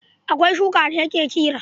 Akwai shuka da ake kira